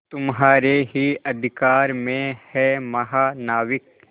तुम्हारे ही अधिकार में है महानाविक